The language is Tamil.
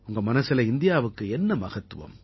உங்க மனசுல இந்தியாவுக்கு என்ன மகத்துவம்